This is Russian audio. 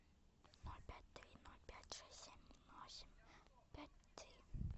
ноль пять три ноль пять шесть семь восемь пять три